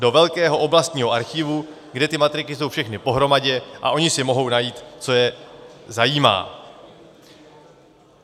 Do velkého oblastního archivu, kde ty matriky jsou všechny pohromadě a oni si mohou najít, co je zajímá.